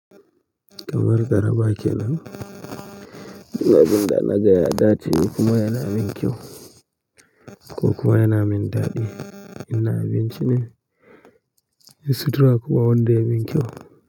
Kamar garaba kenan. Abin da na gaya da dace kuma yana min kyau ko kuma yana min daɗi. In na abincine, yin sutura kuma wanda ya min kyau.